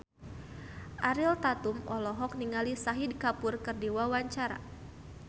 Ariel Tatum olohok ningali Shahid Kapoor keur diwawancara